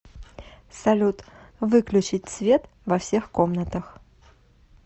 салют выключить свет во всех комнатах